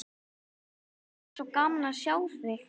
Það væri svo gaman að sjá þig.